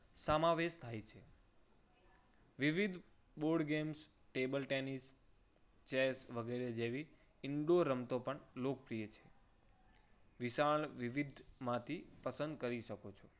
સમાવેશ થાય છે. વિવિધ board games table tennis, chess વગેરે જેવી indoor રમતો પણ લોકપ્રિય છે. વિશાળ વિવિધમાંથી પસંદ કરી શકો છો.